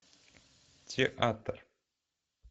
театр